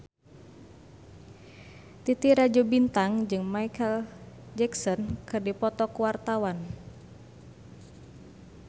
Titi Rajo Bintang jeung Micheal Jackson keur dipoto ku wartawan